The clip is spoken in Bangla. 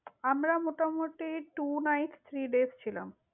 আমরা মোটামুটি two nights three days ছিলাম।